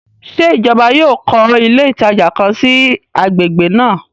Ṣe ìjọba yóò kọ ilé ìtajà kàn sí i agbègbè náà?